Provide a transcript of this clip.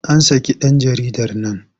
An saki ɗan jaridar nan.